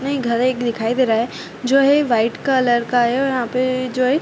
नही घर एक दिखाई दे रहा हैं जो है वाइट कलर का हैं और यहाँ पे जो हैं --